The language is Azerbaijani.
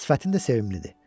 Sifətin də sevimlidir.